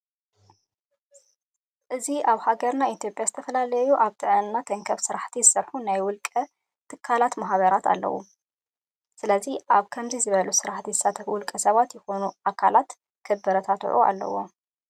እዚ ኣብ ሃገርና ኢትዮጵያ ዝተፈላለዩ ኣብ ጥዕና ተንከፍ ስራሕቲ ዝሰርሑ ናይ ውልቀ ትካላትን ማህበራትን ኣለው። ስለዚ ኣብ ከምዚ ዝበሉ ስራሕቲ ዝሳተፉ ውልቀ ሰባት ይኹኑ ትካላት ክባራትዑ ኣለዎም።